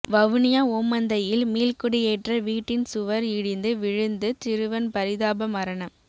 வவுனியா ஓமந்தையில் மீள்குடியேற்ற வீட்டின் சுவர் இடிந்து விழுந்து சிறுவன் பரிதாப மரணம்